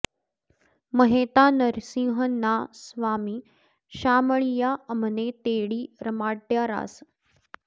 महेता नरसिंह ना स्वामी शामळिया अमने तेडी रमाड्या रास